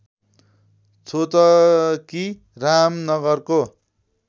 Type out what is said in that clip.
छोतकी रामनगरको